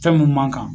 Fɛn mun man kan